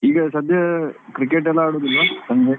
ಈಗ ಸದ್ಯ cricket ಎಲ್ಲಾ ಆಡುದಿಲ್ವಾ ಸಂಜೆ?